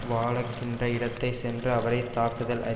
வாழகின்ற இடத்தை சென்று அவரை தாக்குதல் அரி